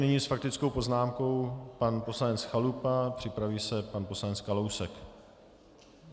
Nyní s faktickou poznámkou pan poslanec Chalupa, připraví se pan poslanec Kalousek.